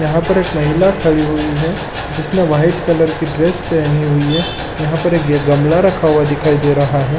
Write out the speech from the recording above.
यहाँ पर एक महिला खड़ी हुई है जिसने वाइट कलर की ड्रेस पहनी हुई है यहाँ पर एक गमला रखा हुआ दिखाई दे रहा है ।